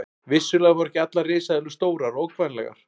Vissulega voru ekki allar risaeðlur stórar og ógnvænlegar.